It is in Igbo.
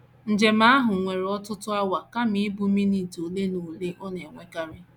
Njem ahụ were ọtụtụ awa kama ịbụ minit ole na ole ọ na - ewekarị.